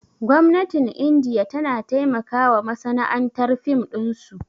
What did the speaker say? Gwamnatin indiya tana taimakawa masana'antar fim ɗinsu